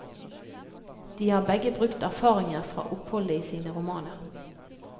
De har begge brukt erfaringer fra oppholdet i sine romaner.